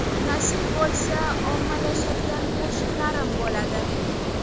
Nasib bo‘lsa, ommalashadigan qo‘shiqlarim bo‘ladi.